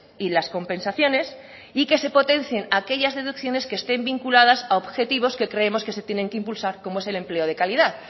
y las compensaciones y que se potencien aquellas deducciones que estén vinculadas a objetivos que creemos que se tienen que impulsar como es el empleo de calidad